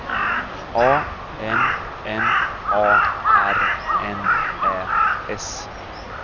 A M M A R N Ä S